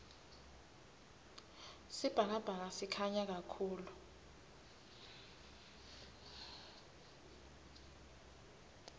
sibhakabhaka sikhanya kahulu